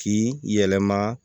K'i yɛlɛma